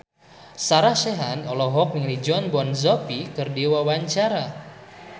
Sarah Sechan olohok ningali Jon Bon Jovi keur diwawancara